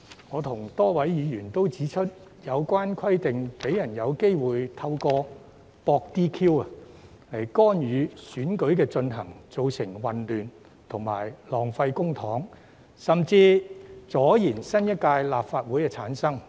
我與多位議員都指出，有關規定讓人有機會透過"博 DQ" 來干擾選舉進行，造成混亂及浪費公帑，甚至阻延新一屆立法會的產生。